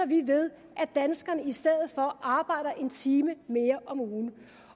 vi ved at danskerne i stedet for arbejder en time mere om ugen